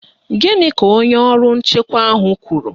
Gịnị ka onye ọrụ nchekwa ahụ kwuru?